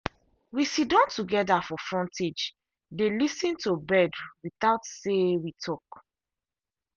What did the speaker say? we sidon together for frontagedey lis ten to bird without say we talk